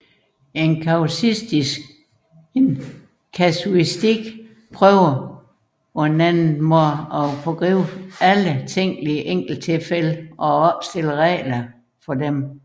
En kasuistik forsøger med andre ord at foregribe alle tænkelige enkelttilfælde og at opstille regler for disse